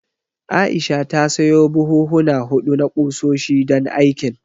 Aisha ta sayo buhuhuna huɗu na ƙusoshi, don aikin.